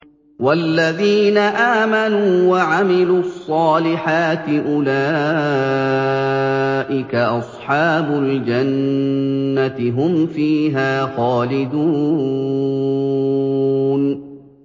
وَالَّذِينَ آمَنُوا وَعَمِلُوا الصَّالِحَاتِ أُولَٰئِكَ أَصْحَابُ الْجَنَّةِ ۖ هُمْ فِيهَا خَالِدُونَ